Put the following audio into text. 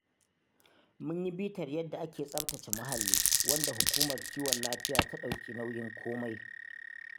Mun yi bitar yadda ake tsaftace muhalli wanda Hukumar kiwon lafiya ta ɗauki nauyin komai